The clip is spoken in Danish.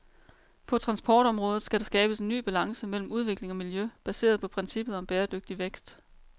På transportområdet skal der skabes en ny balance mellem udvikling og miljø, baseret på princippet om bæredygtig vækst.